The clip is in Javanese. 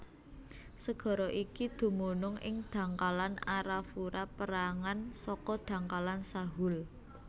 Segara iki dumunung ing dhangkalan Arafura pérangan saka dhangkalan Sahul